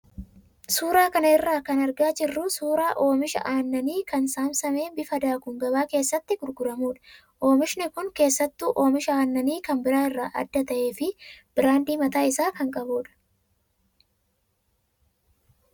Suuraa kana irraa kan argaa jirru suuraa oomisha annanii kan saamsamee bifa daakuun gabaa keessatti gurguramudha. Oomishi kun keessattuu oomisha aannanii kan biraa irraa adda ta'ee fi biraandii mataa isaa kan qabudha.